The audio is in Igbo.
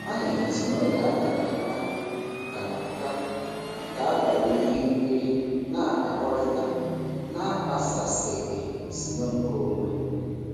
Anyị haziri oge a kara aka kara aka maka abalị ihe nkiri na-akpakọrịta na-akpaghasịghị usoro nkeonwe.